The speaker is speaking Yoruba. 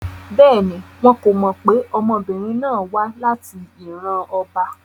Bẹ́ẹ̀ni, wọn ko mọ pe ọmọbirin náà wa lati iran ọba